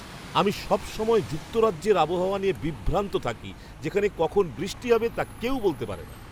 আমি সবসময় যুক্তরাজ্যের আবহাওয়া নিয়ে বিভ্রান্ত থাকি যেখানে কখন বৃষ্টি হবে তা কেউ বলতে পারে না।